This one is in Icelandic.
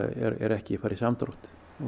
er ekki að fara í samdrátt